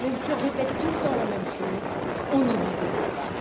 Même si on répète tout le temps la même chose, on ne vous oublie pas!.